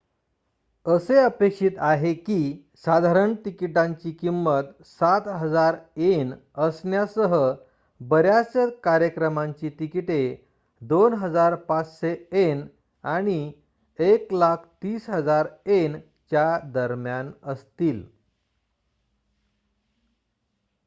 असे अपेक्षित आहे की साधारण तिकिटांची किंमत ¥७,००० असण्यासह बऱ्याच कार्यक्रमांची तिकिटे ¥२,५०० आणि ¥१,३०,००० च्या दरम्यान असतील